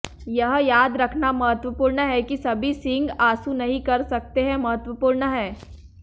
यह याद रखना महत्वपूर्ण है कि सभी सींग आंसू नहीं कर सकते हैं महत्वपूर्ण है